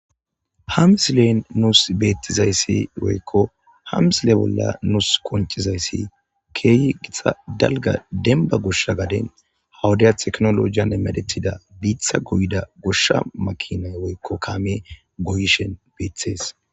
ha misilen nuus beettizayssi woykko hamisile bolla nuus qonchizayssi keehi gitxa dalga denba goshsha gaden hawuday teknolojiyan emedetida biitha goyda goshsha makinay woykko kaame goyishen beethees.